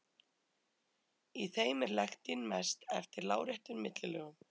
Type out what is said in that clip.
Í þeim er lektin mest eftir láréttum millilögum.